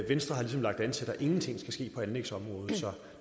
venstre har ligesom lagt an til at der ingenting skal ske på anlægsområdet så